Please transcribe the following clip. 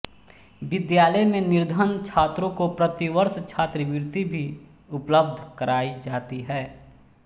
विद्यालय में निर्धन छात्रों को प्रतिवर्ष छात्रवृत्ति भी उपलब्ध कराई जाती है